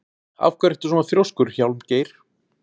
Af hverju ertu svona þrjóskur, Hjálmgeir?